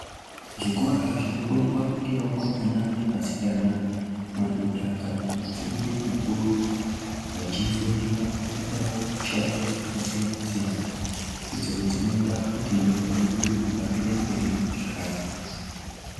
Zvikora zvinofundwa ngevakomana ne vasikana madhodha kana madzimai makuru vachifundira kuitawo mushando dzakasiyana siyana idzodzinoita kuti nyika yedu ihambire mberi zvakanaka